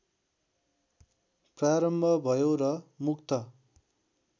प्रारम्भ भयो र मुक्त